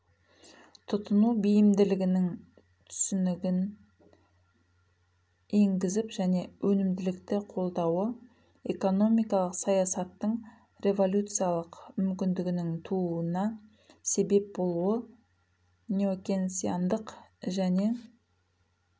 тұтыну бейімділігінің түсінігін еңгізіп және өнімділікті қолдауы экономикалық саясаттың революциялық мүмкіндігінің тууына себеп болыуы неокенсиандық және